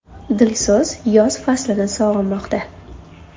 Dilso‘z yoz faslini sog‘inmoqda.